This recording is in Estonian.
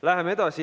Läheme edasi.